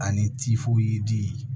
Ani